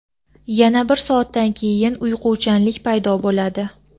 yana bir soatdan keyin uyquchanlik paydo qiladi.